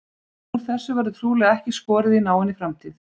Úr þessu verður trúlega ekki skorið í náinni framtíð.